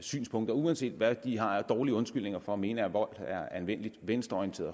synspunkter og uanset hvad de har af dårlige undskyldninger for at mene at vold er anvendelig venstreorienteret